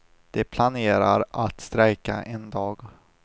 De planerar att strejka en dag.